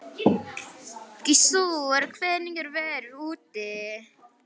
Gissur, hvernig er veðrið úti?